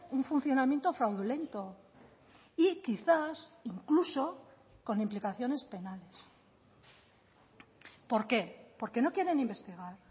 un funcionamiento fraudulento y quizás incluso con implicaciones penales por qué porque no quieren investigar